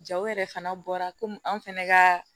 Jaw yɛrɛ fana bɔra komi an fɛnɛ ka